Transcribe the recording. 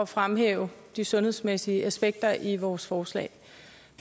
fremhæve de sundhedsmæssige aspekter i vores forslag